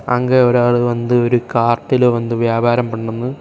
அங்க ஒரு ஆளு வந்து ஒரு காத்துல வந்து வியாபாரம் பண்ணுனு.